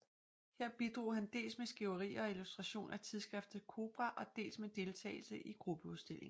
Her bidrog han dels med skriverier og illustration af tidsskriftet CoBrA og dels med deltagelse i gruppeudstillinger